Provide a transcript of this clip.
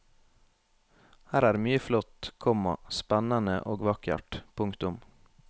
Her er mye flott, komma spennende og vakkert. punktum